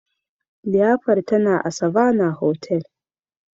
liyafar tana a Savannah hotel